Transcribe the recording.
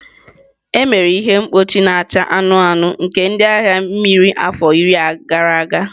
Emere ihe mkpuchi na-acha anụnụ anụnụ nke ndị agha mmiri afọ iri gara aga.